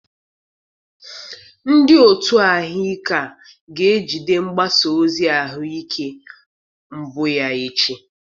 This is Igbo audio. Ndị otu ahụike a ga-ejide mgbasa ozi ahụike mbụ ya echi.